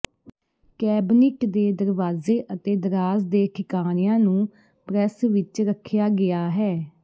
cabinet ਦੇ ਦਰਵਾਜ਼ੇ ਅਤੇ ਦਰਾਜ਼ ਦੇ ਠਿਕਾਣਿਆਂ ਨੂੰ ਪ੍ਰੈਸ ਵਿੱਚ ਰੱਖਿਆ ਗਿਆ ਹੈ